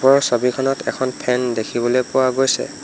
ওপৰৰ ছবিখনত এখন ফেন দেখিবলৈ পোৱা গৈছে।